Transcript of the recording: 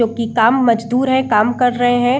जो की कम मजदूर है काम कर रहे हैं।